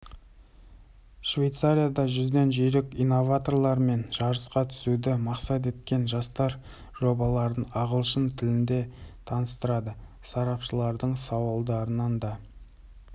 швейцарияда жүзден жүйрік инноваторлармен жарысқа түсуді мақсат еткен жастар жобаларын ағылшын тілінде таныстырды сарапшылардың сауалдарынан да